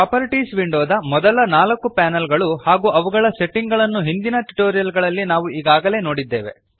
properties ವಿಂಡೋದ ಮೊದಲ ನಾಲ್ಕು ಪ್ಯಾನಲ್ ಗಳು ಹಾಗೂ ಅವುಗಳ ಸೆಟ್ಟಿಂಗ್ ಗಳನ್ನು ಹಿಂದಿನ ಟ್ಯುಟೋರಿಯಲ್ ನಲ್ಲಿ ನಾವು ಈಗಾಗಲೇ ನೋಡಿದ್ದೇವೆ